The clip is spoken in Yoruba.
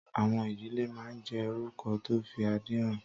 Àwọn ìdílé máa ń jẹ́ orúkọ tó fi adé hàn.